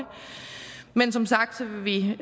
men som sagt vil vi